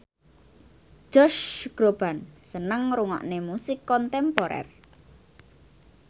Josh Groban seneng ngrungokne musik kontemporer